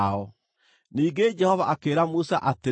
Ningĩ Jehova akĩĩra Musa atĩrĩ,